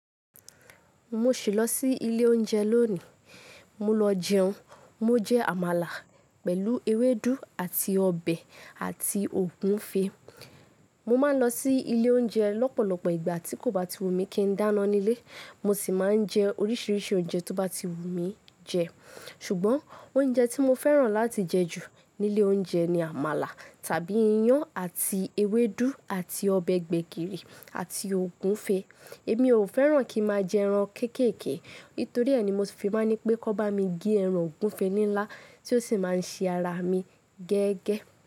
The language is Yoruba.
Mo sì lọ sí ilé oúnjẹ lónìí. Mo lọ jẹun, mo jẹ àmàlà pẹ̀lú ewédú àti ọbẹ̀ àti ògúfe. Mo máa ń lọ sí ilé oúnjẹ lọ́pọ̀lọpọ̀ ìgbà tí kò bá ti wù mí kí n dáná nílé, mo sì máa ń jẹ oríṣiríṣi oúnjẹ tó bá ti wù mí jẹ. Ṣùgbọ́n oúnjẹ tí mo fẹ́ràn láti jẹ jù nílé oúnjẹ ni àmàlà tàbí iyán àti ewédú àti ọbẹ̀ gbẹ̀gìrì àti ògúfe. Èmi ò fẹ́ràn kí n máa jẹ ẹran kéékèè, nítoríẹ̀ ni mo sì fi máa ń ní pé kí wọ́n bá mi gbé ẹran ògúfe nílá tí ó sì máa ń ṣe ara mi gẹ́gẹ́